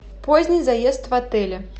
поздний заезд в отеле